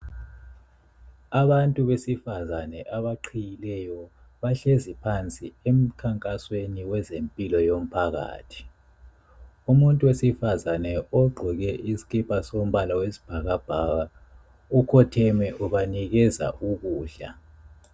Abantu besifazana abaqhiyileyo bahlezi phansi emkhankasweni kwezempilo womphakathi. Umuntu wesifazana ogqoke isikipa sombala wesibhakabhaka ukhotheme ubanikeza ukudla.